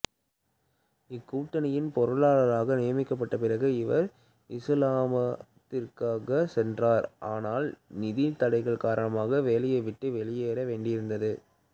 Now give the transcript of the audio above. இக்கூட்டணியின் பொருளாளராக நியமிக்கப்பட்ட பிறகு இவர் இசுலாமாபாத்திற்கு சென்றார் ஆனால் நிதி தடைகள் காரணமாக வேலையை விட்டு வெளியேற வேண்டியிருந்தது